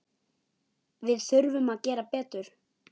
Við þurfum að gera betur.